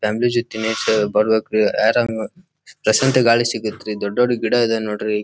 Family ಜೋತಿ ತಿನ್ನಕ ಬರ್ಬೆಕ್ರಿ ರೀ ಏರ್ ಪ್ಲೆಸೆಂಟ್ ಆಗಿ ಗಾಳಿ ಸಿಗತ್ ರೀ ದೊಡ್ಡ್ ದೊಡ್ಡ್ ಗಿಡ ಇದೆ ನೋಡ್ರಿ.